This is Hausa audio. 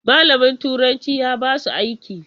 Malamin turanci ya basu aiki.